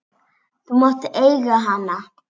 Þú mátt eiga hana!